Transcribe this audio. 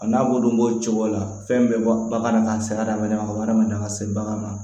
A n'a b'olu bo o cogo la fɛn bɛɛ bɔ bagan na ka se hadamaden ma ka hadamaden ka se bagan ma